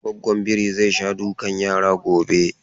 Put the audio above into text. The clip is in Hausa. Gwaggon biri zai sha dukan yara gobe.